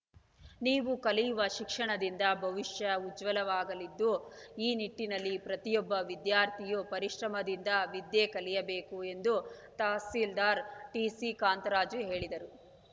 ನೀವು ಕಲಿಯುವ ಶಿಕ್ಷಣದಿಂದ ಭವಿಷ್ಯ ಉಜ್ವಲವಾಗಲಿದ್ದು ಈ ನಿಟ್ಟಿನಲ್ಲಿ ಪ್ರತಿಯೊಬ್ಬ ವಿದ್ಯಾರ್ಥಿಯೂ ಪರಿಶ್ರಮದಿಂದ ವಿದ್ಯೆ ಕಲಿಯಬೇಕು ಎಂದು ತಹಸೀಲ್ದಾರ್‌ ಟಿಸಿ ಕಾಂತರಾಜು ಹೇಳಿದರು